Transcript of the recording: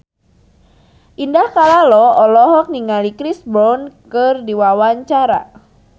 Indah Kalalo olohok ningali Chris Brown keur diwawancara